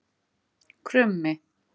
Krummi